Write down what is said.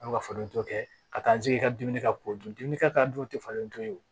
A bɛ ka falentɔ kɛ ka taa n sigi i ka dumuni kɛ k'o dun dumuni kɛ ka taa dun tɛ falentɔ